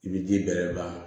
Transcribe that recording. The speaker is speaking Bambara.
I bi ji bɛrɛ la